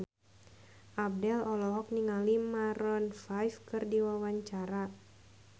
Abdel olohok ningali Maroon 5 keur diwawancara